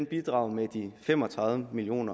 bidrager med de fem og tredive million